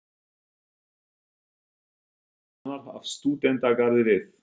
Teikning Sigurðar Guðmundssonar af stúdentagarði við